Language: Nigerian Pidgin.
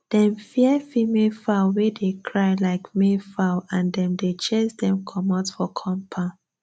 dem fear female fowl wey dey cry like male fowl and dem dey chase dem comot for compound